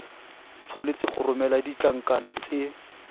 tshwanetse go romela ditlankana tse